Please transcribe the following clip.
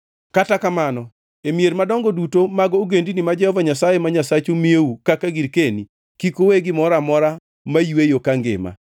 Kata kamano e mier madongo duto mag ogendini ma Jehova Nyasaye ma Nyasachu miyou kaka girkeni, kik uwe gimoro amora mayweyo kangima.